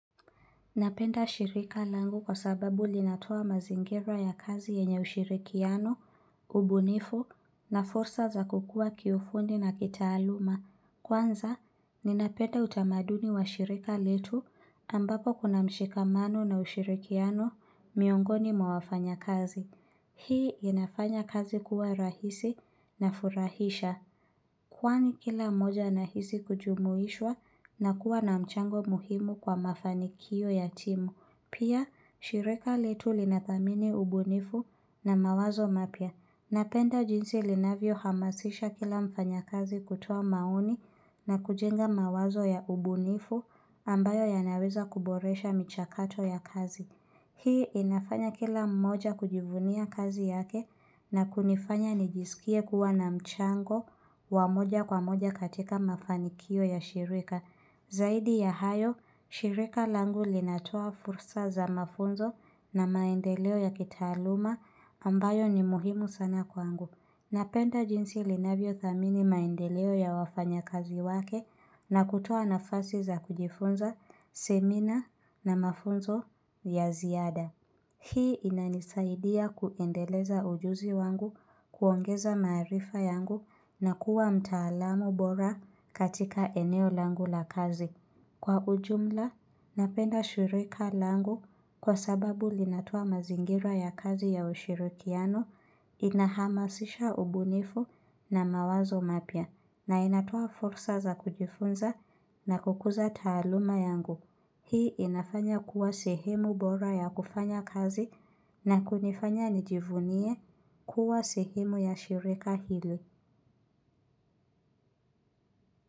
Napenda shirika langu kwa sababu linatoa mazingira ya kazi yenye ushirikiano, ubunifu na fursa za kukua kiufundi na kitaaluma. Kwanza, ninapenda utamaduni wa shirika letu ambapo kuna mshikamano na ushirikiano miongoni mwa wafanya kazi. Hii inafanya kazi kuwa rahisi na furahisha. Kwani kila mmoja na hisi kujumuishwa na kuwa na mchango muhimu kwa mafanikio ya timu. Pia, shirika letu linathamini ubunifu na mawazo mapya. Napenda jinsi linavyo hamasisha kila mfanya kazi kutoa maoni na kujenga mawazo ya ubunifu ambayo yanaweza kuboresha michakato ya kazi. Hii inafanya kila mmoja kujivunia kazi yake na kunifanya nijisikie kuwa na mchango wa moja kwa moja katika mafanikio ya shirika. Zaidi ya hayo, shirika langu linatoa fursa za mafunzo na maendeleo ya kitaaluma ambayo ni muhimu sana kwangu. Napenda jinsi linavyothamini maendeleo ya wafanyakazi wake na kutoa nafasi za kujifunza, semina na mafunzo ya ziada. Hii inanisaidia kuendeleza ujuzi wangu kuongeza maarifa yangu na kuwa mtaalamu bora katika eneo langu la kazi. Kwa ujumla, napenda shirika langu kwa sababu linatoa mazingira ya kazi ya ushirikiano inahamasisha ubunifu na mawazo mapya na inatoa fursa za kujifunza na kukuza taaluma yangu. Hii inafanya kuwa sehemu bora ya kufanya kazi na kunifanya nijivunie kuwa sehemu ya shirika hili.